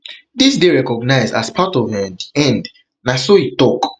dis dey recognized as part of um di end na so e tok